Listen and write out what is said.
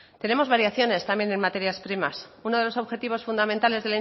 tenemos variaciones también en materias primas uno de los objetivos fundamentales